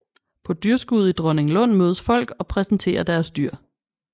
På dyrskuet i Dronninglund mødes folk og præsenterer deres dyr